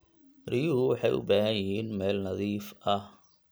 Riyuhu waxay u baahan yihiin meel nadiif ah.